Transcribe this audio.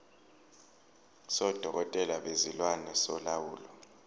sodokotela bezilwane solawulo